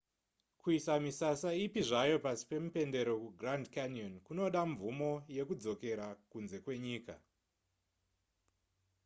kuisa misasa ipi zvayo pasi pemupendero kugrand canyon kunoda mvumo yekudzokera kunze kwenyika